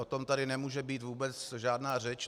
O tom tady nemůže být vůbec žádná řeč.